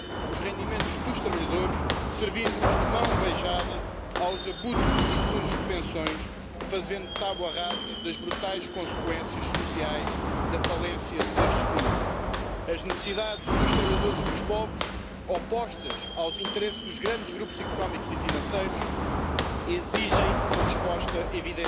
sie ihm ab Wir wollen nicht, dass die amerikanischen Industrieunternehmen, von denen gerade eben gesprochenen wurde, davon profitieren. Wir wollen, dass es eine zweite Säule gibt, bei der Europa einen Mehrwert darstellen